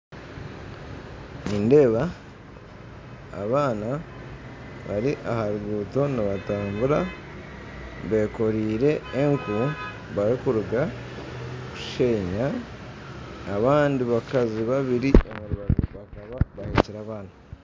Nindeeba abaana bari aha ruguuto nibatambura beekoriire enku barikuruga kushenya, abandi bakazi babiri aha rubaju bakaba bahekire abaana.